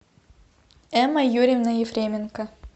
эмма юрьевна ефременко